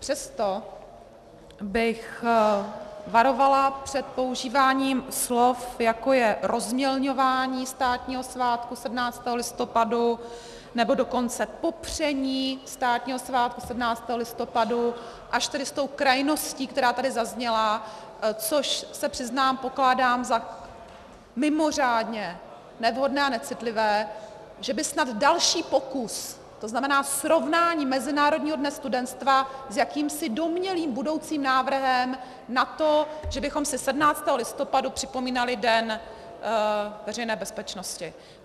Přesto bych varovala před používáním slov, jako je rozmělňování státního svátku 17. listopadu, nebo dokonce popření státního svátku 17. listopadu, až tedy s tou krajností, která tady zazněla, což se přiznám, pokládám za mimořádně nevhodné a necitlivé, že by snad další pokus, to znamená srovnání Mezinárodního dne studentstva s jakýmsi domnělým budoucím návrhem na to, že bychom si 17. listopadu připomínali den Veřejné bezpečnosti.